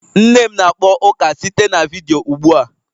Nne m na-akpọ ụka site na vidiyo ụgbua